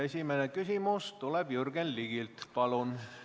Esimene küsimus tuleb Jürgen Ligilt.